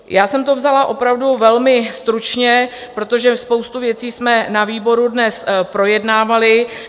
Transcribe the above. Já jsem to vzala opravdu velmi stručně, protože spoustu věcí jsme na výboru dnes projednávali.